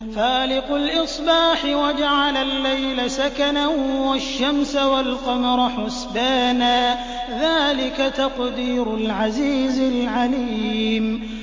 فَالِقُ الْإِصْبَاحِ وَجَعَلَ اللَّيْلَ سَكَنًا وَالشَّمْسَ وَالْقَمَرَ حُسْبَانًا ۚ ذَٰلِكَ تَقْدِيرُ الْعَزِيزِ الْعَلِيمِ